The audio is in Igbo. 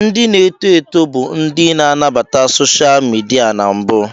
Ndị na-eto eto bụ ndị na-anabata soshal midia na mbụ.